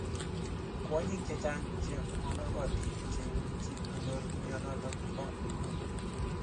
Kwonyik chechang chemonokotin cheimuchii konyoor mionitok paa muut.